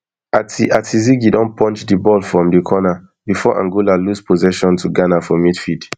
ati ati zigi don punch di ball from di corner bifor angola lose possession to ghana for midfield